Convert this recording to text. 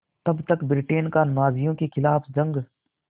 तब तक ब्रिटेन का नाज़ियों के ख़िलाफ़ जंग